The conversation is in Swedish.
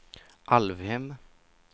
Alvhem